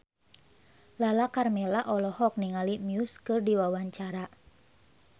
Lala Karmela olohok ningali Muse keur diwawancara